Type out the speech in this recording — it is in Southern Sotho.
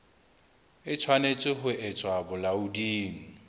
e tshwanetse ho tswa bolaoding